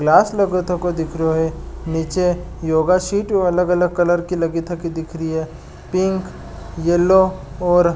ग्लास लगो तको दिख रो है नीचे योगा शीट अलग अलग कलर की लगी थकी दिख री है पिंक येलो और--